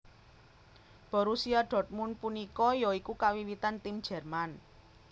Borussia dortmund punika ya iku kawiwitan tim jerman